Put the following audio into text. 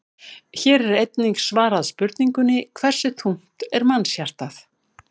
Hér er einnig svarað spurningunni: Hversu þungt er mannshjarta?